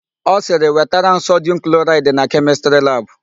Ọ sịrị, "wetara m sodum kloraịdị na kemịstrị labụ"!